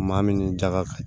Maa min ni jaga